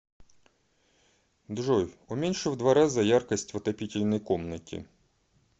джой уменьши в два раза яркость в отопительной комнате